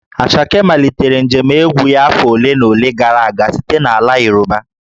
Asake malitere njem egwu ya afọ ole na ole gara aga site n'ala Yoruba